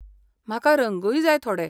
म्हाका रंगूय जाय थोडे.